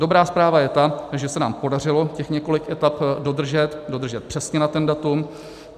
Dobrá zpráva je ta, že se nám podařilo těch několik etap dodržet, dodržet přesně na ten datum.